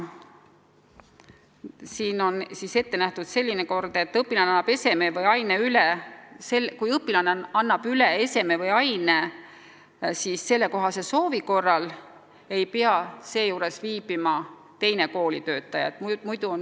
Ette on nähtud selline kord, et kui õpilane annab ise keelatud eseme või aine üle, siis ei pea selle juures viibima teine koolitöötaja.